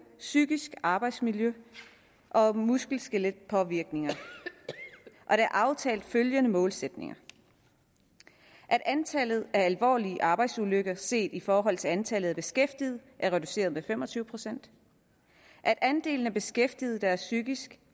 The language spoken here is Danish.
psykisk arbejdsmiljø og muskel skelet påvirkninger der er aftalt følgende målsætninger at antallet af alvorlige arbejdsulykker set i forhold til antallet af beskæftigede er reduceret med fem og tyve procent at andelen af beskæftigede der er psykisk